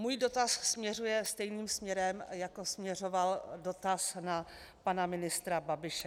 Můj dotaz směřuje stejným směrem, jako směřoval dotaz na pana ministra Babiše.